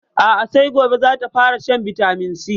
A'a sai gobe zata fara shan bitaminsi